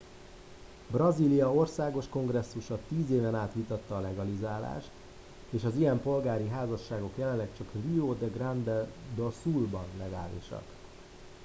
brazília országos kongresszusa 10 éven át vitatta a legalizálást és az ilyen polgári házasságok jelenleg csak rio grande do sul ban legálisak